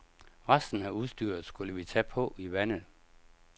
Resten af udstyret skulle vi tage på i vandet.